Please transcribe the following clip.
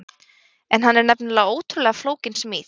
En hann er nefnilega ótrúlega flókin smíð.